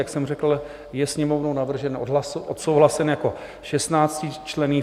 Jak jsem řekl, je Sněmovnou navržen, odsouhlasen jako 16členný.